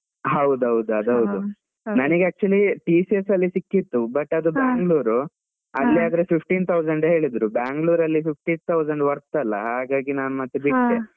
ಹೌದೌದು ಅದು ಹೌದು, ನನ್ಗೆ actually TCS ಅಲ್ಲಿ ಸಿಕ್ಕಿತ್ತು but ಅದು Bangalore ಅಲ್ಲಿ ಆದ್ರೆ fifteen thousand ಹೇಳಿದ್ರು, Bangalore ಅಲ್ಲಿ fifteen thousand worth ಅಲ್ಲ, ಹಾಗಾಗಿ ನಾನು ಮತ್ತೆ ಬಿಟ್ಟೆ.